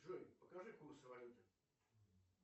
джой покажи курсы валюты